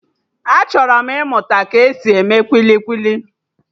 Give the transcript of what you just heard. Achọrọ m ịmụta ka-esi eme kwili kwili